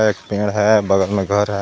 एक पेड़ है बगल में घर है।